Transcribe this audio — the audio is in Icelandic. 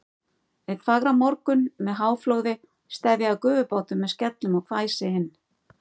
Einn fagran morgun með háflóði steðjaði gufubátur með skellum og hvæsi inn